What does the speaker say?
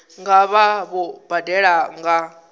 nga vha vho badela nga